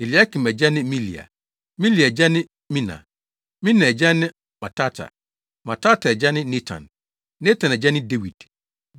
Eliakim agya ne Melea; Melea agya ne Mena; Mena agya ne Matata; Matata agya ne Natan; Natan agya ne Dawid;